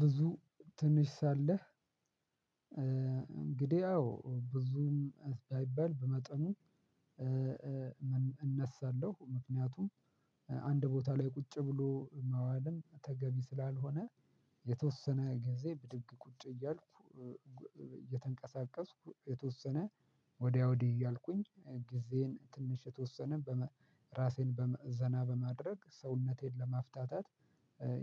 ብዙ ትንሽ ሳለህ እንግዲህ አዎ ብዙም ባይባል በመጠኑ። እነሳለሁ ምክንያቱም አንድ ቦታ ላይ ቁጭ ብሎ መዋልን ተገቢ ስላልሆነ። የተወሰነ ጊዜ ብድግ ቁጭ እያልኩ እየተንቀሳቀስኩ የተወሰነ ወዲያ ወዲህ እያልኩኝ ጊዜን ትንሽ የተወሰነ በመ ራሴን በዘና በማድረግ ሰውነቴን ለማፍታታት